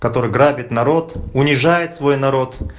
который грабит народ унижает свой народ